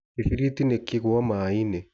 Gĩbiriti nĩ kĩgwa maĩnĩ.